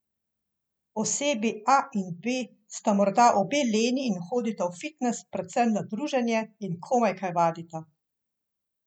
Osebi A in B sta morda obe leni in hodita v fitnes predvsem na druženje in komaj kaj vadita.